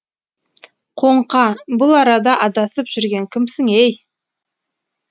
қоңқа бұл арада адасып жүрген кімсің ей